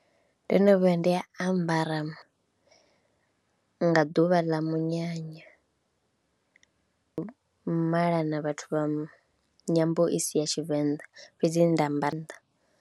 Ndo no vhuya nda ambara nga ḓuvha ḽa munyanya, malana vhathu vha nyambo i si ya Tshivenḓa fhedzi nda amba nnḓa.